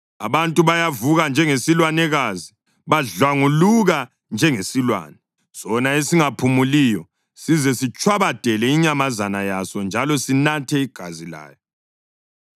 Abantu bayavuka njengesilwanekazi; badlwanguluka njengesilwane sona esingaphumuliyo size sitshwabadele inyamazana yaso njalo sinathe igazi layo.”